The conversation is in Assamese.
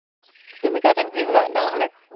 তুমি কোৱাচোন কি হবা ডাঙৰ হলে?